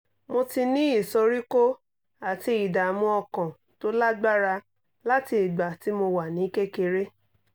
mo ti ní ìsoríkó àti ìdààmú ọkàn tó lágbára láti ìgbà tí mo wà ní kékeré